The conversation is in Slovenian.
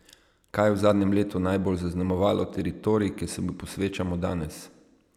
Kaj je v zadnjem letu najbolj zaznamovalo teritorij, ki se mu posvečamo danes?